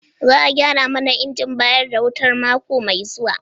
Za a gyara mana injin bayar da wuta mako mai zuwa.